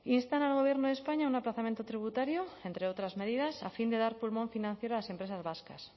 instan al gobierno de españa a un aplazamiento tributario entre otras medidas a fin de dar pulmón financiero a las empresas vascas